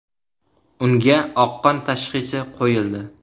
Unga oqqon tashxisi qo‘yildi.